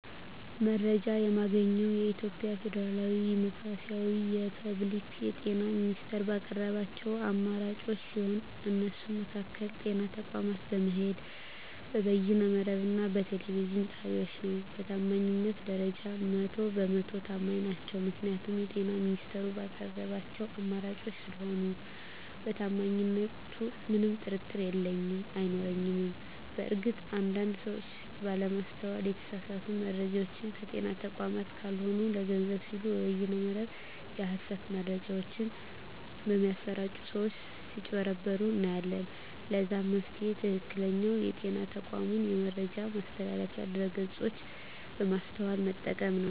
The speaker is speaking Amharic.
መረጃ የማገኘዉ የኢትዮጵያ ፌደራላዊ ዲሞክራሲያዊ የፐብሊክ የጤና ሚኒስቴር ባቀረባቸዉ አማራጮች ሲሆን እነሱም በአካል (ጤና ተቋማት በመሄድ)፣ በበይነ መረብ እና በቴሌቪዥን ጣቢያወች ነዉ። በታማኝነት ደረጃ 100 በ 100 ተማኝ ናቸዉ ምክንያቱም የጤና ሚኒስቴሩ ባቀረባቸዉ አማራጮች ስለሆነ በታማኝነቱ ምንም ጥርጥር የለኝም አይኖረኝም። በእርግጥ አንድ አንድ ሰወች ባለማስተዋል የተሳሳቱ መረጃወችን ከጤና ተቋማት ካልሆኑ ለገንዘብ ሲሉ በበይነ መረብ የሀሰት መረጃወች በሚያሰራጪ ሰወች ስጭበረበሩ እናያለን ለዛም መፍትሄዉ ትክክለኛዉ የጤና ተቋሙን የመረጃ ማስተላለፊያ ድረገፆች በማስተዋል መጠቀም ነዉ።